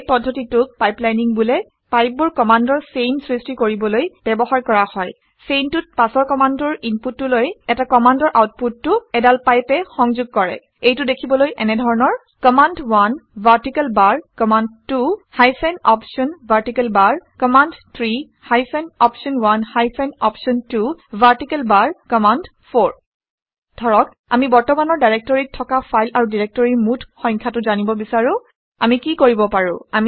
এই পদ্ধতিটোক পাইপলাইনিং বোলে। পাইপবোৰ কামাণ্ডৰ চেইন সৃষ্টি কৰিবলৈ ব্যৱহাৰ কৰা হয়। চেইনটোত পাছৰ কামাণ্ডটোৰ ইনপুটটোলৈ এটা কামাণ্ডৰ আউটপুটটো এডাল পাইপে সংঘোগ কৰে। এইটো দেখিবলৈ এনেধৰণৰ - কামাণ্ড1 ভাৰ্টিকেল বাৰ কামাণ্ড2 হাইফেন অপশ্যন ভাৰ্টিকেল বাৰ কামাণ্ড3 হাইফেন অপশ্যন1 হাইফেন অপশ্যন2 ভাৰ্টিকেল বাৰ কামাণ্ড4 ধৰক আমি বৰ্তমানৰ ডাইৰেক্টৰীত থকা ফাইল আৰু ডাইৰেক্টৰীৰ মুঠ সংখ্যাটো জানিব বিচাৰোঁ আমি কি কৰিব পাৰো